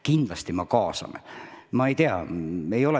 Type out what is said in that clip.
Kindlasti me kaasame.